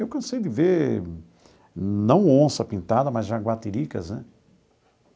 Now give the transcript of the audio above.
Eu cansei de ver, não onça pintada, mas jaguatiricas, né?